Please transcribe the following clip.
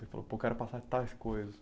Você falou, pô eu quero passar tais coisas.